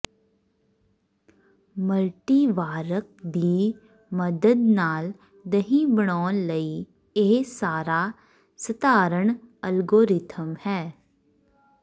ਮਲਟੀਵਾਰਕ ਦੀ ਮਦਦ ਨਾਲ ਦਹੀਂ ਬਣਾਉਣ ਲਈ ਇਹ ਸਾਰਾ ਸਧਾਰਨ ਐਲਗੋਰਿਥਮ ਹੈ